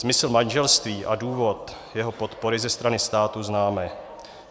Smysl manželství a důvod jeho podpory ze strany státu známe.